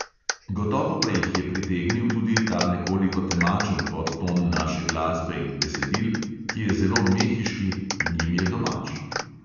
Gotovo pa jih je pritegnil tudi ta nekoliko temačen podton naše glasbe in besedil, ki je zelo mehiški in jim je domač.